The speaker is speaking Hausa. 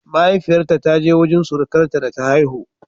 Mahaifiyarta ta je wurin surukarta da ta haihu